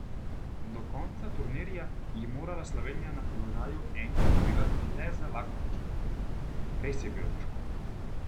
Do konca turnirja je morala Slovenija na položaju enke odigrati le z Lakovičem: "Res je bilo težko.